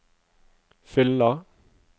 fyller